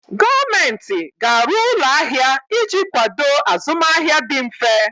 Gọọmenti ga-arụ ụlọ ahịa iji kwado azụmahịa dị mfe.